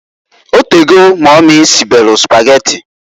O tego mumy sibelu Sụpageti.